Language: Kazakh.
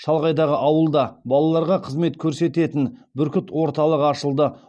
шалғайдағы ауылда балаларға қызмет көрсететін бүркіт орталығы ашылды